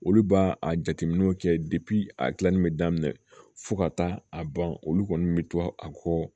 Olu b'a a jateminɛw kɛ a gilanni bɛ daminɛ fo ka taa a ban olu kɔni bɛ to a kɔ